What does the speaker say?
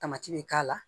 Tamati bɛ k'a la